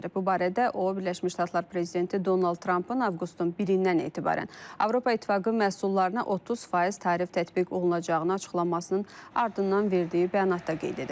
Bu barədə o Birləşmiş Ştatlar prezidenti Donald Trampın avqustun birindən etibarən Avropa İttifaqı məhsullarına 30% tarif tətbiq olunacağını açıqlamasının ardından verdiyi bəyanatda qeyd edib.